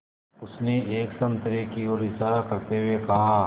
उसने एक संतरे की ओर इशारा करते हुए कहा